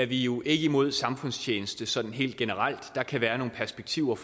vi jo ikke imod samfundstjeneste sådan helt generelt der kan være nogle perspektiver